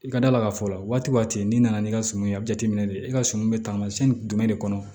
I ka d'a la k'a fɔ waati waati n'i nana n'i ka suman ye a bɛ jateminɛ de i ka sumu bɛ taamasiyɛn jumɛn de kɔnɔ